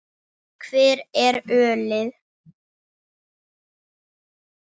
Hvar er ölið?